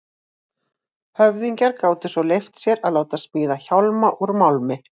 Höfðingjar gátu svo leyft sér að láta smíða hjálma úr málmi.